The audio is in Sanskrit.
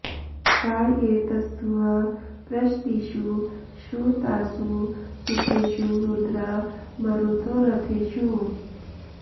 आ ये त॒स्थुः पृष॑तीषु श्रु॒तासु॑ सु॒खेषु॑ रु॒द्रा म॒रुतो॒ रथे॑षु